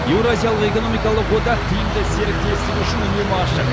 еуразиялық экономикалық одақ тиімді серіктестік үшін үнемі ашық